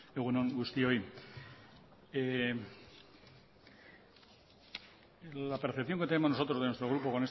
egun on guztioi la percepción que tenemos nosotros de nuestro grupo